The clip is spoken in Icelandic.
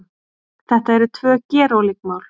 Þetta eru tvö gerólík mál